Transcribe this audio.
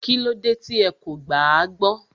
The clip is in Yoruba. Kílódé tí ẹ kò gbàágbọ́